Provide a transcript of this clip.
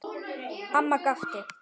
Amma gapti.